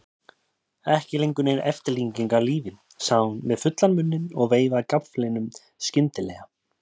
Ekki lengur nein eftirlíking af lífi, sagði hún með fullan munninn og veifaði gafflinum skyndilega.